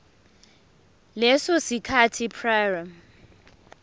leso sikhathi prior